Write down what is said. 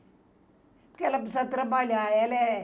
Porque ela precisa trabalhar, ela é...